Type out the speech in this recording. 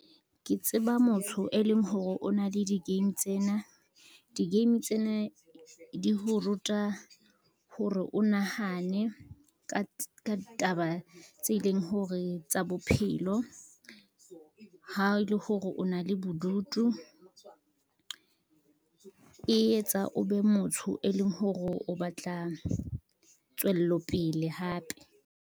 Ke tseba motho e leng hore o na le di-game tsena, di-game tsena di ho ruta hore o nahane ka ditaba tse e leng hore tsa bophelo. Ha e le hore o na le bodutu, e etsa o be motho e leng hore o batla tswellopele hape.